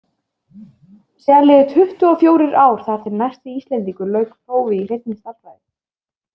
Síðan liðu tuttugu og fjórir ár þar til næsti Íslendingur lauk prófi í hreinni stærðfræði.